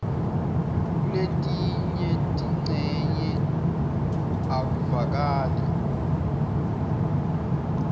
kuletinye tincenye akuvakali